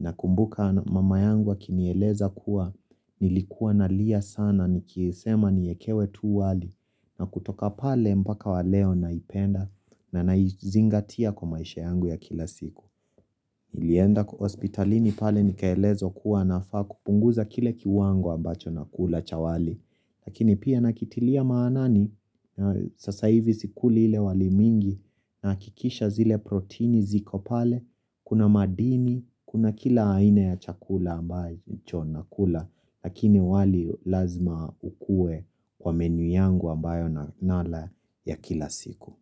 nakumbuka mama yangu akinieleza kuwa nilikuwa nalia sana nikisema niekewe tu wali na kutoka pale mpaka wa leo naipenda na naizingatia kwa maisha yangu ya kila siku. Nilienda kwa hospitalini pale nikaelezwa kuwa nafaa kupunguza kile kiwango ambacho nakula cha wali. Lakini pia nakitilia maanani, sasa hivi sikuli ile wali mingi nahakikisha zile protini ziko pale, kuna madini, kuna kila aina ya chakula ambacho nakula, lakini wali lazima ukue kwa menu yangu ambayo nala ya kila siku.